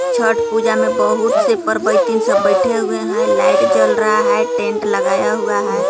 छट पूजा में बहुत से परबईतीन सब बैठे हुए है लाइट जल रहा है टेंट लगाया हुआ है.